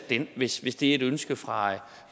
hvis hvis det er et ønske fra